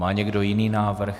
Má někdo jiný návrh?